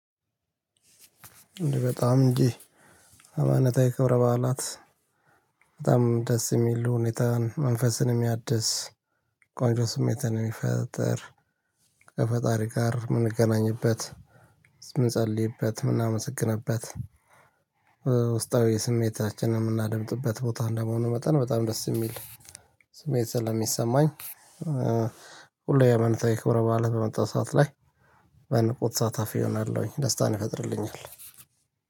በጣም እንጂ። ሃይማኖታዊ ክብረ በዓላት በጣም ደስ የሚሉ ሁኔታን መንፈስን የሚያድስ፣ ቆንጆ ስሜትን የሚፈጥር፣ ከፈጣሪ ጋር የምንገናኝበት የምንጸልይበት የምናመሰግንበት እ ውስጣዊ የስሜታችንን የምናደምጥበት ቦታ እንደመሆኑ መጠን በጣም ደስ የሚል ስሜት ስለሚሰማኝ። እ ሁሌ የሃይማኖታዊ ክብረ በዓለት በመጣ ሰዓት ላይ በንቁ ተሳታፊ እሆናለሁኝ ደስታን ይፈጥርልኛል።